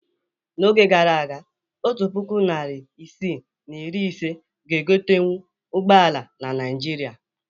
N'oge gara aga, otu puku naịra isii na iri ise ga egotenwu ụgbọala na Naịjirịa.